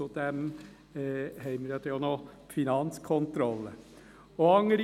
Zudem haben wir ja dann auch noch die Finanzkontrolle (FK).